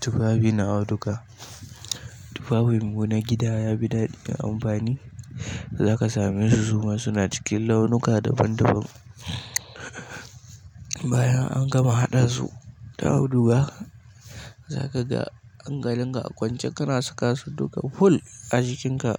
Tufafi na auduga. Tufafin mu na gida ya fi daɗi da amfani. Zaka samesu suma suna cikin launuka daban-daban. Bayan an gama haɗa su da auduga, zaka ga hankalin ka a kwance kana saka su duka full a jikinka